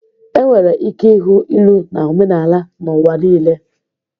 Enwere ike ịhụ ilu na omenala n'ụwa niile.